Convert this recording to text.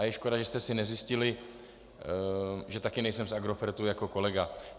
A je škoda, že jste si nezjistili, že také nejsem z Agrofertu jako kolega.